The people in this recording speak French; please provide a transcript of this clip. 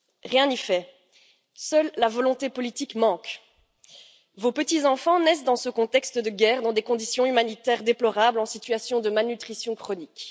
Rien n'y fait. Seule la volonté politique manque. Vos petits enfants naissent dans ce contexte de guerre dans des conditions humanitaires déplorables, en situation de malnutrition chronique.